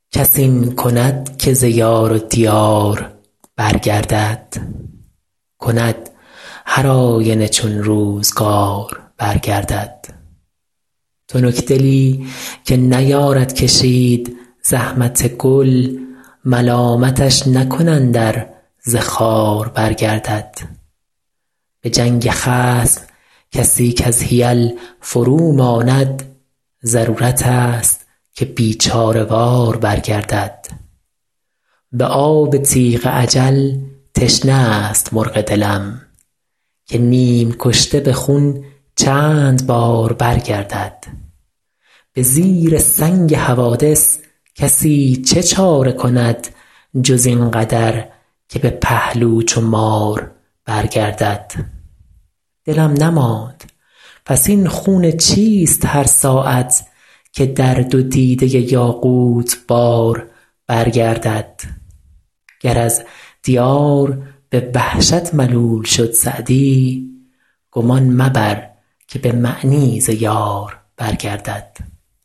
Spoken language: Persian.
کس این کند که ز یار و دیار برگردد کند هرآینه چون روزگار برگردد تنکدلی که نیارد کشید زحمت گل ملامتش نکنند ار ز خار برگردد به جنگ خصم کسی کز حیل فروماند ضرورتست که بیچاره وار برگردد به آب تیغ اجل تشنه است مرغ دلم که نیم کشته به خون چند بار برگردد به زیر سنگ حوادث کسی چه چاره کند جز این قدر که به پهلو چو مار برگردد دلم نماند پس این خون چیست هر ساعت که در دو دیده یاقوت بار برگردد گر از دیار به وحشت ملول شد سعدی گمان مبر که به معنی ز یار برگردد